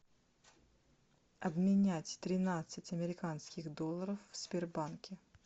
обменять тринадцать американских долларов в сбербанке